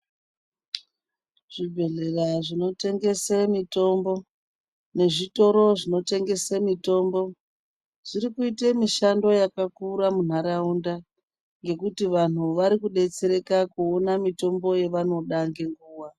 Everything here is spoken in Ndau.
Zvibhedhlera zvinotengese mitombo nezvitoro zvinotengese mitombo zvirikite mishando yakakura muntaraunda. Ngekuti vantu varikubetsereka kuona mitomboyo yavanoda nenguva.